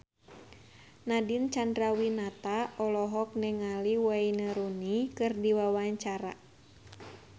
Nadine Chandrawinata olohok ningali Wayne Rooney keur diwawancara